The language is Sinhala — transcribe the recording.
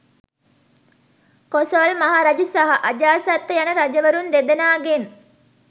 කොසොල් මහ රජු සහ අජාසත්ත යන රජවරුන් දෙදෙනාගෙන්